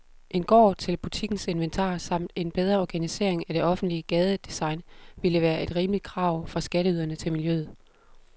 En gård til butikkens inventar samt en bedre organisering af det offentlige gadedesign ville være et rimeligt krav fra skatteyderne til miljøet.